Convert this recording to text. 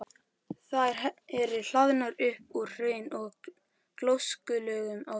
Þær eru hlaðnar upp úr hraun- og gjóskulögum á víxl.